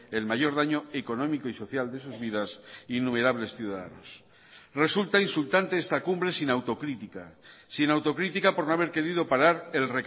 el mayor daño económico y social de sus vidas innumerables ciudadanos resulta insultante esta cumbre sin autocrítica sin autocrítica por no haber querido parar el